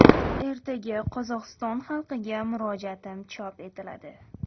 Ertaga Qozog‘iston xalqiga murojaatim chop etiladi.